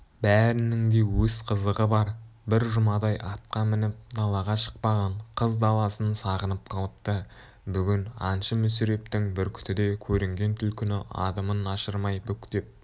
бәрінің де өз қызығы бар бір жұмадай атқа мініп далаға шықпаған қыз даласын сағынып қалыпты бүгін аңшы мүсірептің бүркіті де көрінген түлкіні адымын ашырмай бүктеп